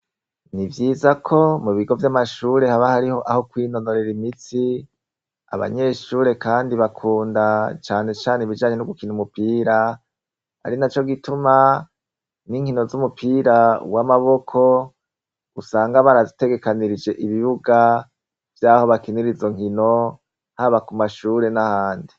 Ni vyiza ko mu bigo vy'amashure haba hariho aho kwinonorera imitsi abanyeshure, kandi bakunda canecane ibijanye no gukina umupira ari na co gituma n'inkino z'umupira w'amaboko usanga barazitegekanirije ibibuga vy'aho bakinirizo nkino haba ku mashure n'ahandi.